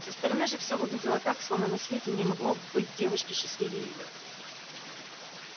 со стороны же все выглядело так словно на свете не могло быть девушки счастливее её